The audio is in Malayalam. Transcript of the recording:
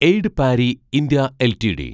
aid Parry (India) LTD